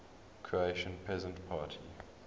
croatian peasant party